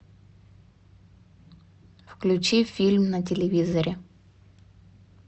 включи фильм на телевизоре